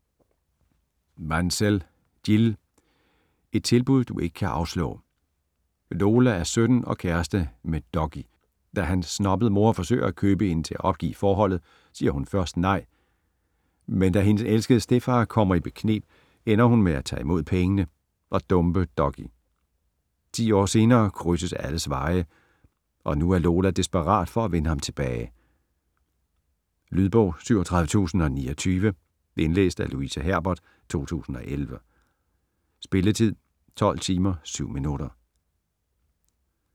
Mansell, Jill: Et tilbud du ikke kan afslå Lola er 17 og kæreste med Dougie. Da hans snobbede mor forsøger at købe hende til at opgive forholdet, siger hun først nej. Men da hendes elskede stedfar kommer i bekneb, ender hun med at tage imod pengene og dumpe Dougie. Ti år senere krydses alles veje, og nu er Lola desperat for at vinde ham tilbage. Lydbog 37029 Indlæst af Louise Herbert, 2011. Spilletid: 12 timer, 7 minutter.